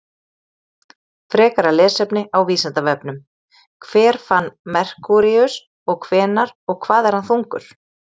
Frekara lesefni á Vísindavefnum: Hver fann Merkúríus og hvenær og hvað er hann þungur?